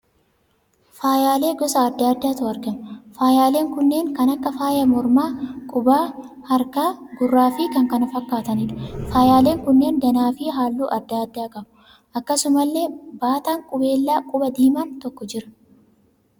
Faayyaalee gosa adda addaatu argama. faayyaaleen kunneen kan akka faaya mormaa, qubaa, harkaa, gurraa fi kan kana fakkaataniidha. Faayyaaleen kunneen danaa fi halluu adda addaa qabu. Akkasumallee baataan qubeelaa qubaa diimaan tokko jira.